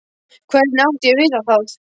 Hvernig átti ég að vita það?